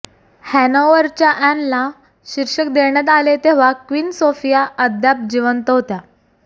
हॅनॉव्हरच्या अॅनला शीर्षक देण्यात आले तेव्हा क्वीन सोफिया अद्याप जिवंत होता